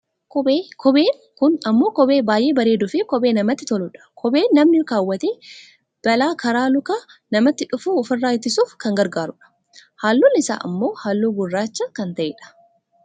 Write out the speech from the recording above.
kophee, kopheen kun ammoo kophee baayyee bareeduufi kophee namatti toludha. kopheen namni kawwatee balaa karaa luka namaatti dhufu ofirraa ittiisuuf kan gargaarudha, halluun isaa ammoo halluu gurraacha kan ta'e dha.